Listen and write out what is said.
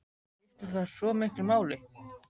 En skiptir það svo miklu máli?